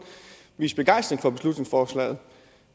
vist begejstring for beslutningsforslaget